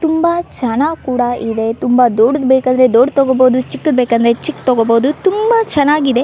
ತುಂಬಾ ಚನ್ನಾಕೂಡ ಇವೆ ತುಂಬಾ ದೊಡ್ಡದ್ ಬೇಕಾದ್ರೆ ದೊಡ್ಡದ್ ತೋಕೋಬಹುದು ಚಿಕ್ಕದ್ ಬೇಕಾದ್ರೆ ಚಿಕ್ಕದ್ ತೋಕೋಬಹುದು ತುಂಬಾ ಚನ್ನಾಗಿದೆ .